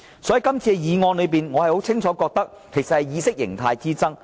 就今次的議案，我清楚感覺到只是意識形態之爭。